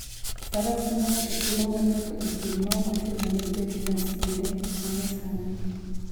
Faras miyo ng'ato thuolo mar wuotho e thim maok ochuno ni obed gi masinde ma nyasani.